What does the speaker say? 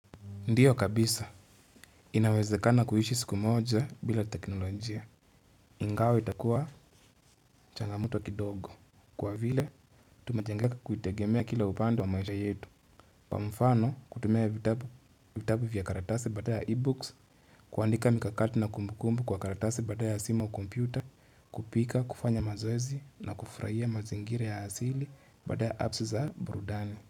Ndiyo kabisa inawezekana kuishi siku moja bila teknolojia ingawa itakuwa changamoto kidogo kwa vile tumejengeka kuitegemea kila upande wa maisha yetu kwa mfano kutumia vitabu vitabu vya karatasi badala ya ebooks kuandika mikakati na kumbukumbu kwa karatasi badala ya simu au kompyuta kupika kufanya mazoezi na kufuraia mazingira ya asili badala ya apps za burudani.